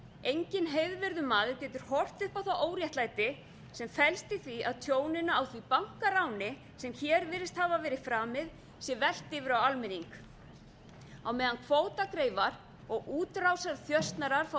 engin heiðvirður maður getur horft upp á það óréttlæti sem felst í því að tjóninu á því bankaráni sem hér virðist hafa verið framið sé velt yfir á almenning á meðan kvótagreifar og útrásarþjösnarar fá